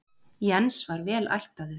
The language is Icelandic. Jens var vel ættaður.